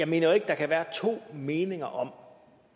mener at der kan være to meninger om